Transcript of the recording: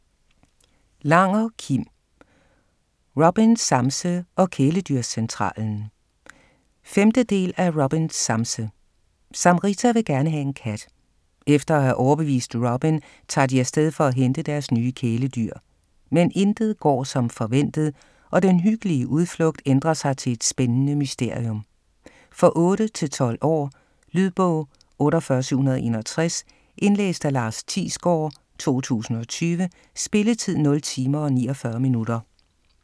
Langer, Kim: RobinSamse og Kæledyrscentralen 5. del af RobinSamse. Samrita vil gerne have en kat. Efter at have overbevist Robin, tager de afsted for at hente deres nye kæledyr. Men intet går som forventet, og den hyggelige udflugt ændrer sig til et spændende mysterium. For 8-12 år. Lydbog 48761 Indlæst af Lars Thiesgaard, 2020. Spilletid: 0 timer, 49 minutter.